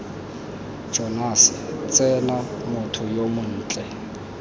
jonase tsena motho yo montle